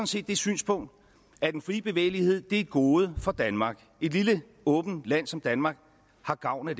set det synspunkt at den frie bevægelighed er et gode for danmark et lille åbent land som danmark har gavn af